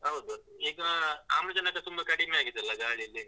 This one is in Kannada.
ಹೌದು, ಈಗ ಆಮ್ಲಜನಕ ತುಂಬ ಕಡಿಮೆ ಆಗಿದೆ ಅಲಾ ಗಾಳಿಲಿ.